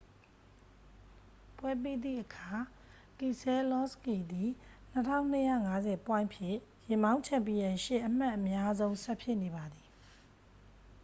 ပွဲပြီးသည့်အခါ ကီဆဲလောစကီသည် 2250 ပွိုင့်ဖြင့် ယာဉ်မောင်း ချန်ပီယံရှစ် အမှတ်အများဆုံး ဆက်ဖြစ်နေပါသည်